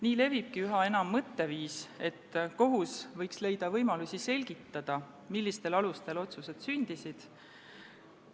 Nii levibki üha enam mõtteviis, et kohus võiks leida võimalusi selgitada, millistel alustel otsused sündisid.